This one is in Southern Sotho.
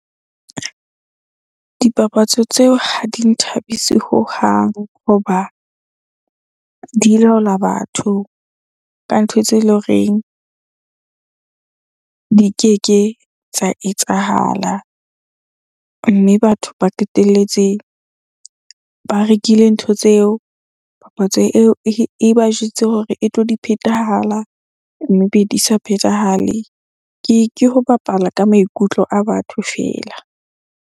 Dipapatso tseo ha di nthabise hohang hoba di laola batho ka ntho tse leng horeng di keke tsa etsahala. Mme batho ba qetelletse ba rekile ntho tseo papatso eo e ba jwetse hore e tlo di phethahala mme be di sa phethahale. Ke ho bapala ka maikutlo a batho feela.